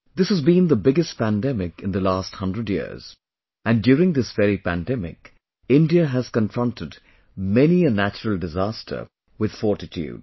This has been the biggest pandemic in the last hundred years and during this very pandemic, India has confronted many a natural disaster with fortitude